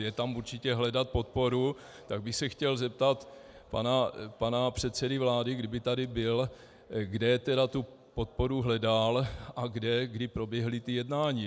Je tam určitě hledat podporu, tak bych se chtěl zeptat pana předsedy vlády, kdyby tady byl, kde tedy tu podporu hledal a kde, kdy proběhla ta jednání.